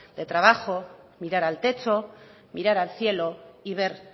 de trabajo mirar al techo mirar al cielo y ver